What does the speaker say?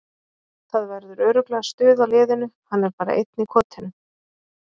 Það verður örugglega stuð á liðinu, hann er bara einn í kotinu.